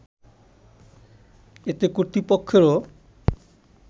এতে কর্তৃপক্ষেরও